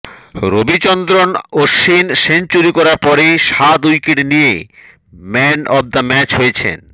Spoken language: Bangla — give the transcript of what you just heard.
রবিচন্দ্রন অশ্বিন সেঞ্চুরি করার পরে সাত উইকেট নিয়ে ম্যান অফ দ্য ম্যাচ হয়েছেন